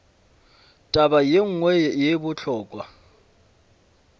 taba ye nngwe ye bohlokwa